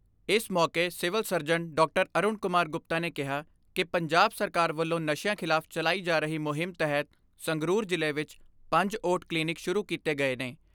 ਅਰੁਣ ਕੁਮਾਰ ਗੁਪਤਾ ਨੇ ਕਿਹਾ ਕਿ ਪੰਜਾਬ ਸਰਕਾਰ ਵੱਲੋਂ ਨਸ਼ਿਆਂ ਖਿਲਾਫ ਚਲਾਈ ਜਾ ਰਹੀ ਮੁਹਿੰਮ ਤਹਿਤ ਸੰਗਰੂਰ ਜ਼ਿਲ੍ਹੇ ਵਿੱਚ ਪੰਜ ਓਟ ਕਲੀਨਿਕ ਸ਼ੁਰੂ ਕੀਤੇ ਗਏ ਨੇ।